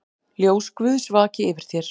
Ljós Guðs vaki yfir þér.